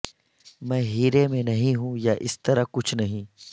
میں ہیرے میں نہیں ہوں یا اس طرح کچھ نہیں